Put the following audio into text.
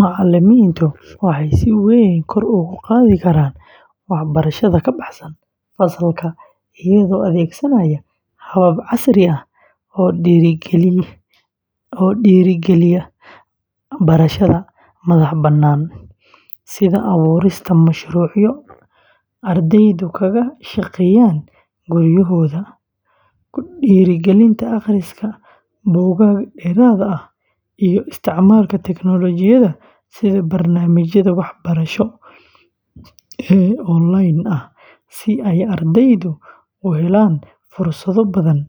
Macalimiintu waxay si weyn kor ugu qaadi karaan waxbarashada ka baxsan fasalka iyagoo adeegsanaya habab casri ah oo dhiirrigeliya barashada madaxbannaan, sida abuurista mashruucyo ardaydu kaga shaqeynayaan guryahooda, ku dhiirrigelinta akhriska buugaag dheeraad ah, iyo isticmaalka teknoolojiyadda sida barnaamijyada waxbarasho ee onlaynka ah si ay ardaydu u helaan fursado badan